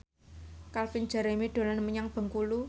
Calvin Jeremy dolan menyang Bengkulu